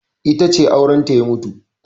Ita ce aurenta ya mutu.